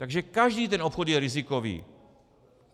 Takže každý ten obchod je rizikový.